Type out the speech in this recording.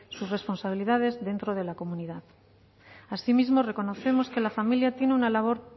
sus responsabilidades dentro de la comunidad asimismo reconocemos que la familia tiene una labor